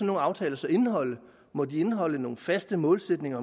nogle aftaler så indeholde må de indeholde nogle faste målsætninger